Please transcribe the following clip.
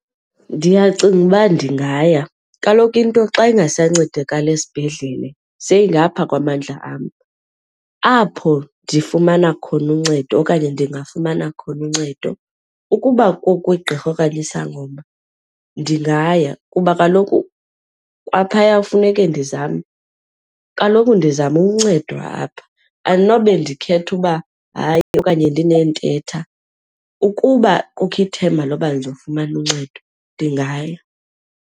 Ndiyacinga uba ndingaya. Kaloku into xa ingasancedakali esibhedlele seyingapha kwamandla am. Apho ndifumana khona uncedo okanye ndingafumana khona uncedo ukuba kukwigqirha okanye isangoma ndingaya kuba kaloku kwaphaya kufuneke ndizame, kaloku ndizama uncedwa apha andinobe ndikhetha uba hayi okanye ndineethetha. Ukuba kukho ithemba loba ndizofumana uncedo, ndingaya.